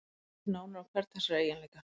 Lítum nánar á hvern þessara eiginleika.